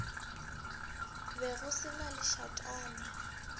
be go se na lešatana